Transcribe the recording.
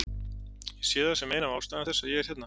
Ég sé það sem eina af ástæðum þess að ég er hérna.